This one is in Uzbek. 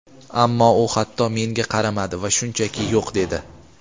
Ammo u hatto menga qaramadi va shunchaki "yo‘q" dedi.